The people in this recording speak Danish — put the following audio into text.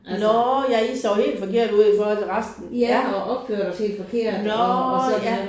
Nåh ja I så helt forkert ud i forhold til resten ja. Nåh ja